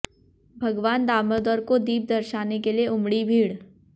भगवान दामोदर को दीप दर्शाने के लिए उमड़ी भीड़